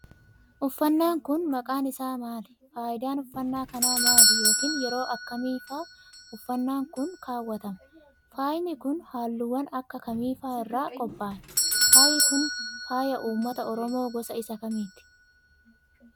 Uffannaan kun, maqaan isaa maali? Faayidaan uffannaa kanaa maali yokin yeroo akka kamii faa uffannaan kun kaawwatama? Faayini kun, haalluuwwan akka kamii faa irraa qophaa'e? Faayini kun, faaya ummata oromoo gosa isa kamiiti?